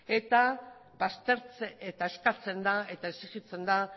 eta eskatzen eta exijitzen da